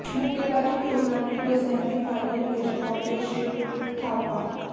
ਮੁੱਕੇਬਾਜ਼ੀ ਟੂਰਨਾਮੈਂਟ ਦੇ semi final ਵਿੱਚ ਪਹੁੰਚਿਆ ਸ਼ਿਵ ਥਾਪਾ